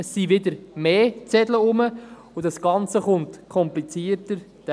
Es sind dann wieder mehr Zettel vorhanden, und das Ganze kommt komplizierter daher.